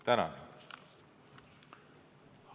Tänan!